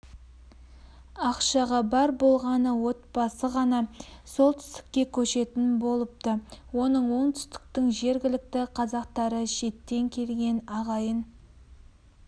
ақшаға бар болғаны отбасы ғана солтүстікке көшетін болыпты оның оңтүстіктің жергілікті қазақтары шеттен келген ағайын